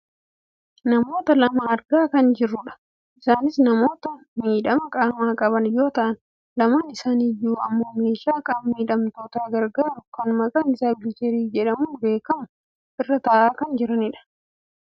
namoota lama argaa kan jirrudha. isaanis namoota miidhama qaamaa qaban yoo ta'an lameen isaanii iyyuu ammoo meeshaa qaama miidhamtoota gargaaru kan maqaan isaa wiilcharii jedhamuun beekkamu irra taa'aa kan jiranidha.